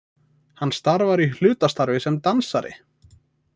Hann starfar í hlutastarfi sem dansari